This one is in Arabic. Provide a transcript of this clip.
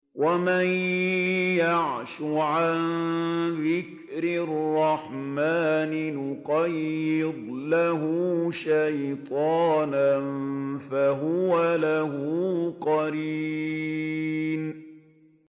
وَمَن يَعْشُ عَن ذِكْرِ الرَّحْمَٰنِ نُقَيِّضْ لَهُ شَيْطَانًا فَهُوَ لَهُ قَرِينٌ